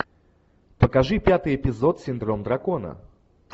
покажи пятый эпизод синдром дракона